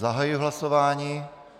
Zahajuji hlasování.